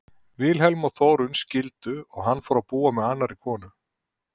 Vilhelm og Þórunn skildu og hann fór að búa með annarri konu.